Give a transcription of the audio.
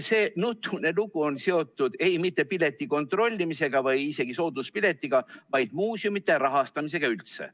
See nutune lugu ei ole seotud mitte pileti kontrollimisega või isegi sooduspiletiga, vaid muuseumide rahastamisega üldse.